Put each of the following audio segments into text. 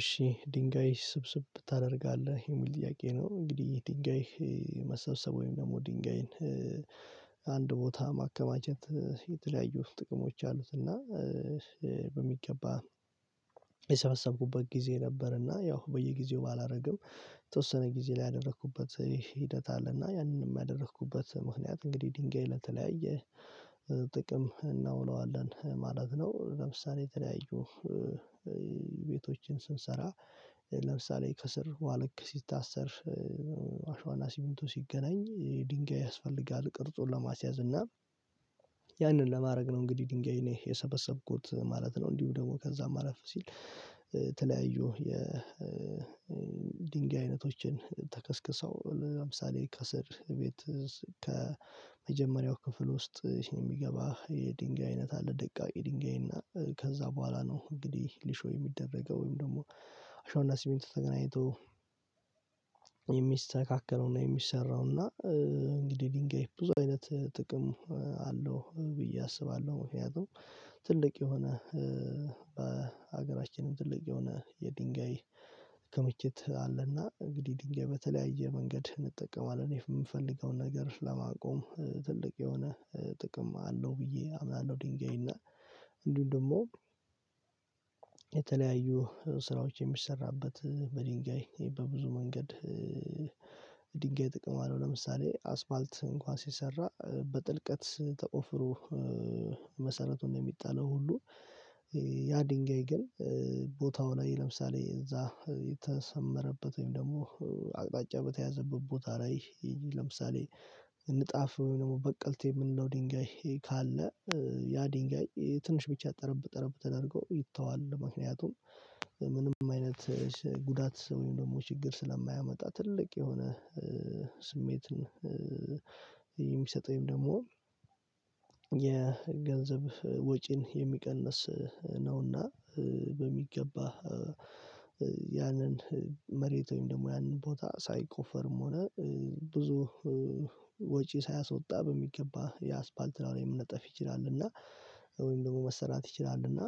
እሺ ድንጋይ ስብስብ ታደርጋለህ። የሚል ጥያቄ ነው። እንግዲህ ድንጋይ መሰብሰብ ወይም ደግሞ ድንጋይን አንድ ቦታ ማከማቸት የተለያዩ ጥቅሞች አሉት። እና በሚገባ የሰበሰብኩበት ጊዜ ነበርና ያው በየጊዜው ባላደርግም የተወሰነ ጊዜ ላይ ያደረኩበት ሂደት አለና ያንንም ያደረኩበት ምክንያት እንግዲህ ድንጋይ ለተለያየ ጥቅም እናውለዋለን። ማለት ነው ለምሳሌ የተለያዩ ቤቶችን ስንሰራ ለምሳሌ ከስር ዋለክ ሲታሰር አሸዋና ሲሚንቱ ሲገናኝ ድንጋይ ያስፈልጋል። ቅርጹን ለማስያዝ እና ያንን ለማድረግ ነው እንግዲህ ድንጋይ እኔ የሰበሰብኩት ማለት ነው። እንዲሁ ደግሞ ከዛ ማለት ሲል ተለያዩ የድንጋይ አይነቶችን ተከስክሰው ለምሳሌ ከስር ቤት ከመጀመሪያው ክፍል ውስጥ የሚገባ የድንጋይ አይነት አለ ደቃቂ ድንጋይ እና ከዛ በኋላ ነው እንግዲህ ሊሾ የሚደረገው ወይም ደግሞ አሸዋና ሲሚንቶ ተገናኝቶ የሚስተካከለው እና የሚሰራው እና እንግዲህ ድንጋይ ብዙ አይነት ጥቅም አለው። ብዬ አስባለሁ ምክንያቱም ትልቅ የሆነ በሀገራችንም ትልቅ የሆነ የድንጋይ ክምችት አለና እንግዲህ ድንጋይ በተለያየ መንገድ እንጠቀማለን። የምፈልገውን ነገር ለማቆም ትልቅ የሆነ ጥቅም አለው። ብዬ አምናለሁ። ድንጋይና እንዲሁም ደግሞ የተለያዩ ስራዎች የሚሰራበት በድንጋይ በብዙ መንገድ ድንጋይ ጥቅም አለው ለምሳሌ አስፋልት እንኳን ሲሰራ በጥልቀት ተቆፍሮ መሰረቱን ነው የሚጣለው ሁሉ ያ ድንጋይ ግን ቦታው ላይ ለምሳሌ እዛ የተሰመረበት ወይም ደግሞ አቅጣጫ በተያዘበት ቦታ ላይ ለምሳሌ ንጣፍ ወይ ደግሞ በቀልቴ የምንለው ድንጋይ ካለ ያ ድንጋይ ትንሽ ብቻ ጠረብ ጠረብ ተደርገው ይተዋል። ምክንያቱም ምንም አይነት ጉዳት ወየም ደግሞ ችግር ስለማያመጣ ትልቅ የሆነ ስሜትን የሚሰጠኝ ደግሞ የገንዘብ ወጪን የሚቀንስ ነውና በሚገባ ያንን መሬት ወይም ደግሞ ያንን ቦታ ሳይቆፈርም ሆነ ብዙ ወጪ ሳያሶጣ በሚገባ የአስፋልት ላይ መነጠፍ ይችላል። እና ወይም ደግሞ መሰራት ይችላል። እና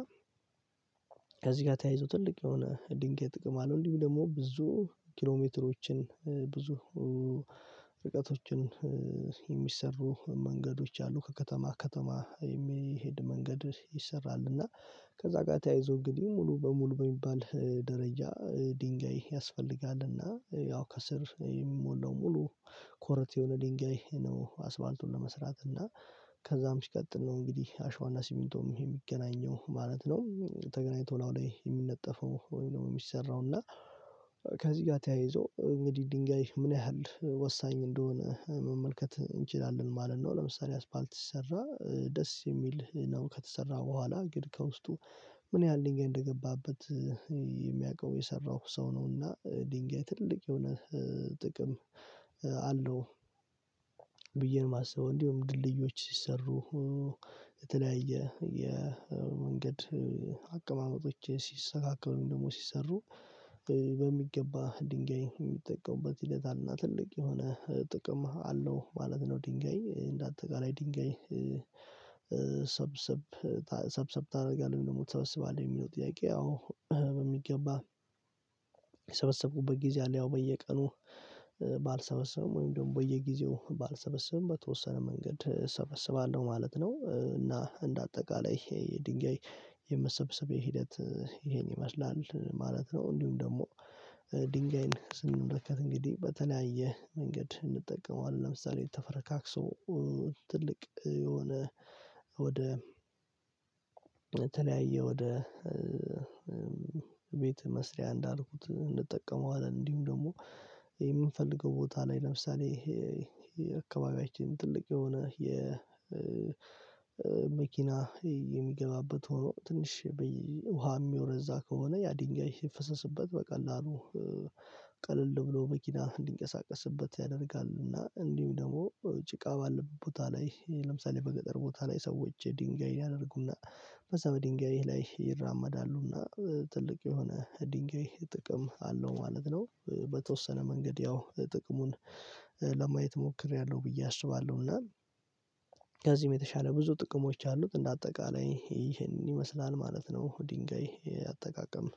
ከዚህ ጋር ተያይዞ ትልቅ የሆነ ድንጋይ ጥቅም አለው። እንዲሁም ደግሞ ብዙ ኪሎሜትሮችን ብዙ ርቀቶችን የሚሰሩ መንገዶች አሉ። ከከተማ ከተማ የሚሄድ መንገድ ይሰራል። እና ከዛ ጋር ተያይዞ እንግዲህ ሙሉ በሙሉ በሚባል ደረጃ ድንጋይ ያስፈልጋል። እና ያው ከስር የሚሞላው ሙሉ ኮረት የሆነ ድንጋይ ነው አስፋልቱን ለመስራት እና ከዛም ሲቀጥል ነው እንግዲህ አሸዋና ሲሚንቶም የሚገናኘው ማለት ነው። ተገናኝቶ ነው አሁን ላይ የሚነጠፈው ወይ ደግሞ የሚሰራው እና ከዚህ ጋር ተያይዞ እንግዲህ ድንጋይ ምን ያህል ወሳኝ እንደሆነ መመልከት እንችላለን። ማለት ነው ለምሳሌ አስፋልት ሲሰራ ደስ የሚል ነው። ከተሰራ በኋላ ግን ከውስጡ ምን ያህል ድንጋይ እንደገባበት የሚያውቀው የሰራው ሰው ነውና ድንጋይ ትልቅ የሆነ ጥቅም አለው። ብዬ ነው የማስበው። እንዲሁም ድልድዮች ሲሰሩ የተለያየ የመንገድ አቀማመጦች ሲስተካከሉ ደግሞ ሲሰሩ በሚገባ ድንጋይ የሚጠቀምበት ሂደት አለ ትልቅ የሆነ ጥቅም አለው። ማለት ነው ድንጋይ እንደ አጠቃላይ ድንጋይ ሰብሰብ ሰብሰብ ታደርጋለህ ወይ ደግሞ ትሰብስባለሁ ለሚለው ጥያቄ አዎ በሚገባ የሰበሰብኩበት ጊዜ አለ ያው በየቀኑ ባልሰበሰብም ወይም ደግሞ በየጊዜው ባልሰበሰብም በተወሰነ መንገድ እሰበስባለሁ። ማለት ነው እና እንደ አጠቃላይ የድንጋይ የምሰብሰብ ሂደት ይሄን ይመስላል። ማለት ነው እንዲሁም ደግሞ ድንጋይን ስንመለከት እንግዲህ በተለያየ መንገድ እንጠቀመዋለን። ለምሳሌ ተፈረካክሶ ትልቅ የሆነ ወደ ተለያየ ወደ ቤተ መስሪያ እንዳልኩት እንጠቀመዋለን እንዲሁም ደግሞ የምንፈልገው ቦታ ላይ ለምሳሌ ይሄ የአካባቢያችን ትልቅ የሆነ የመኪና መኪና የሚገባበት ሆኖ ትንሽ ውሃ የሚወረዛ ከሆነ ያ ድንጋይ የፈሰስበት በቀላሉ ቀለል ብሎ መኪና እንዲንቀሳቀስበት ያደርጋል። እና እንዲሁም ደግሞ ጭቃ ባለበት ቦታ ላይ ለምሳሌ በገጠር ቦታ ላይ ሰዎች ድንጋይ ያደርጉና በዛ በድንጋይ ላይ ይራመዳሉና ትልቅ የሆነ ድንጋይ ጥቅም አለው። ማለት ነው በተወሰነ መንገድ ያው ጥቅሙን ለማየት ሞክሬያለሁ። ብዬ አስባለሁ እና ከዚህም የተሻለ ብዙ ጥቅሞች አሉት። እንደ አጠቃላይ ይሄንን ይመስላል ማለት ነው። ድንጋይ አጠቃቀም